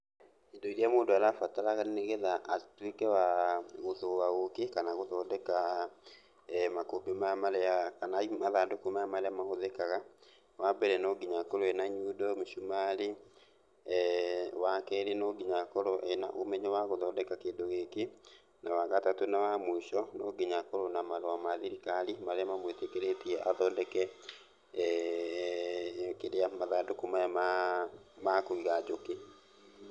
Indo iria mũndũ arabatara nĩgetha atuĩke wa gũthũa ũkĩ kana gũthondeka makũmbĩ maya marĩa, kana mathandũkũ maya marĩa mahũthĩkaga, wambere no nginya akorwo ena nyundo mũcumarĩ. Wakerĩ no nginya akorwo ena ũmenyo wa gũthondeka kĩndũ gĩkĩ. Na, wagatatũ na wa mũico no nginya akorwo na marũa ma thirikari, marĩa mamwĩtĩkĩrĩtie athondeke kĩrĩa mathandũkũ maya ma kũiga njũkĩ.